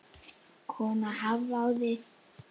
Konan hváði.